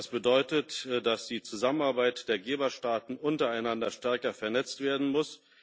Das bedeutet, dass die Zusammenarbeit der Geberstaaten untereinander stärker vernetzt werden muss.